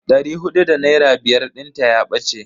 Dari hudu da naira biyar dinta ya bace.